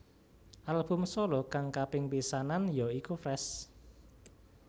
Album solo kang kaping pisanan ya iku Fresh